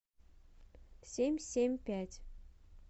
семь семь пять